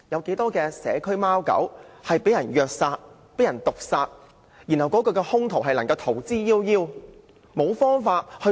不少社區貓狗被人虐殺毒害後，兇徒卻能逃之夭夭，逍遙法外。